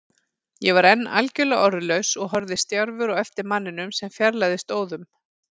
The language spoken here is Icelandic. Ég var enn algjörlega orðlaus og horfði stjarfur á eftir manninum sem fjarlægðist óðum.